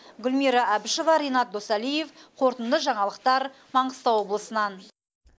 гүлмира әбішева ренат досалиев қорытынды жаңалықтар маңғыстау облысынан